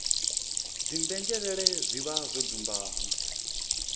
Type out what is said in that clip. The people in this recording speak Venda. dzimbenzhelele zwi vha zwo dzumbama